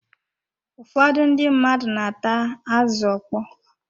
Ụfọdụ ndị mmadụ na-ata azụ ọkpọ.